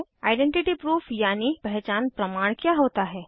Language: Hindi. आइडेंटिटी प्रूफ यानि पहचान प्रमाण क्या होता है160